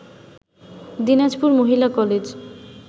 দিনাজপুর মহিলা কলেজ